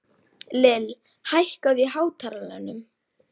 Lill, hækkaðu í hátalaranum.